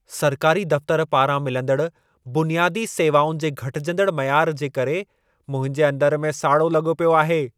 सरकारी दफ़्तरु पारां मिलंदड़ बुनियादी सेवाउनि जे घटिजंदड़ मयार जे करे मुंहिंजे अंदरु में साड़ो लॻो पियो आहे।